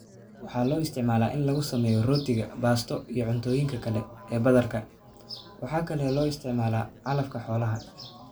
Waxaa loo isticmaalaa in lagu sameeyo rootiga, baasto, iyo cuntooyinka kale ee badarka. Waxa kale oo loo isticmaalaa calafka xoolaha.